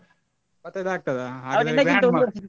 ಇಪ್ಪತೈದು ಆಗ್ತದಾ .